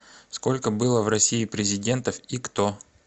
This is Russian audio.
сколько было в россии президентов и кто